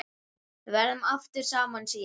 Við verðum aftur saman síðar.